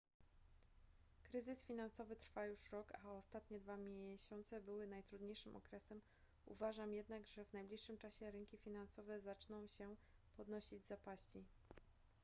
kryzys finansowy trwa już rok a ostatnie dwa miesiące były najtrudniejszym okresem uważam jednak że w najbliższym czasie rynki finansowe zaczną się podnosić z zapaści